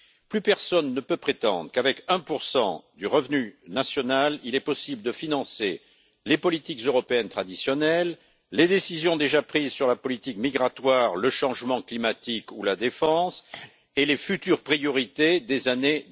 Plus personne ne peut prétendre qu'avec 1 du revenu national, il est possible de financer les politiques européennes traditionnelles, les décisions déjà prises sur la politique migratoire, le changement climatique ou la défense, et les futures priorités des années